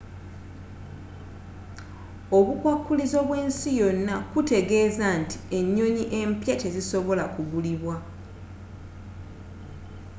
obukwakulizo bw'ensi yonna kutegeeza nti ennyonyi empya tezisobola gulibwa